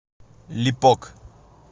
липок